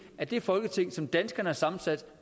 af det folketing som danskerne har sammensat